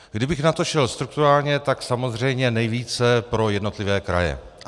Kdybych na to šel strukturálně, tak samozřejmě nejvíce pro jednotlivé kraje.